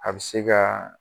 A bɛ se ka